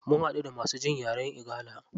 Mun haɗu da masu jin yaren igala.